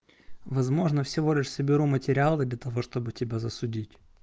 возможно всего лишь соберу материалы для того чтобы тебя засудить